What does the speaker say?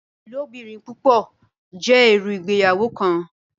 Ilobirin-pupọ jẹ iru Ìgbéyàwó kan.